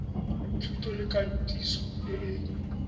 thuto le katiso e e